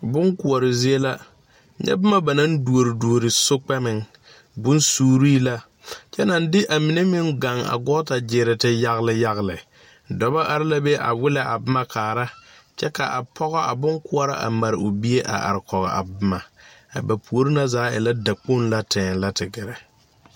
Bonkoɔre zie la nyɛ bomma ba naŋ duore duore sokpɛmɛŋ bonsuuree la kyɛ naŋ de a mine meŋ gaŋ a gɔɔta gyiire te yagle yagle dobɔ are la be a willɛ a bomma kaara kyɛ ka a pɔgɔ a bon koɔrɔ a mare o bie a are kɔge a bomma a ba puore na zaa e ŋa dakpoŋ la tɛɛ lɛ te gɛrɛ.